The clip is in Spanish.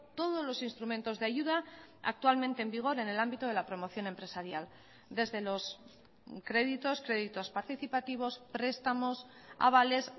todos los instrumentos de ayuda actualmente en vigor en el ámbito de la promoción empresarial desde los créditos créditos participativos prestamos avales